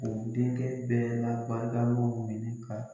U denkɛ bɛɛ la Badalu de bi ka